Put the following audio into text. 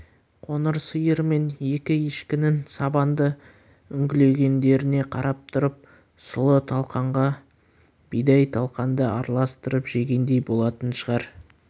қоңыр сиыр мен екі ешкінің сабанды үңгілегендеріне қарап тұрып сұлы талқанға бидай талқанды араластырып жегендей болатын шығар